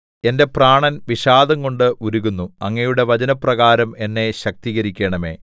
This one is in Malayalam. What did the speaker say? എന്റെ പ്രാണൻ വിഷാദംകൊണ്ട് ഉരുകുന്നു അങ്ങയുടെ വചനപ്രകാരം എന്നെ ശക്തീകരിക്കണമേ